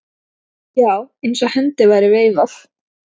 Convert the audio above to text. Já, eins og hendi væri veifað.